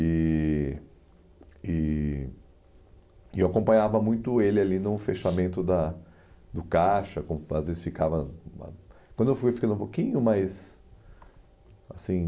E... E e eu acompanhava muito ele ali no fechamento da do caixa, como às vezes ficava... Quando eu fui, ficando um pouquinho, mais... Assim...